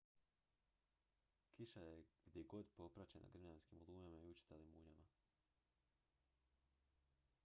kiša je gdjegdje popraćena grmljavinskim olujama i učestalim munjama